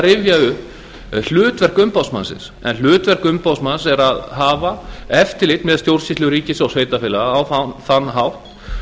rifja upp hlutverk umboðsmannsins en hlutverk umboðsmanns er að hafa eftirlit með stjórnsýslu ríkis og sveitarfélaga á þann hátt